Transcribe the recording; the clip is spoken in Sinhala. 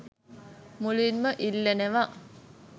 මුලින්ම ඉල්ලනවා.